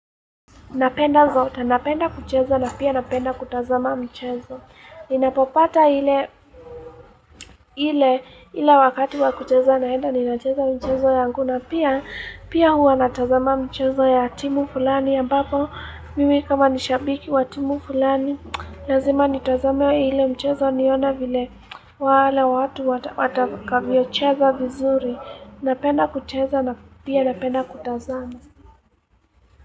Napenda zote, napenda kucheza na pia napenda kutazama michezo. Ninapopata ile wakati wakucheza naenda, ninacheza mchezo yangu. Na pia, pia huwa natazama mchezo ya timu fulani. Ambapo, mimi kama nishabiki wa timu fulani. Lazima nitazame ile mchezo niona vile wale watu watakavyocheza vizuri. Napenda kucheza na pia napenda kutazama.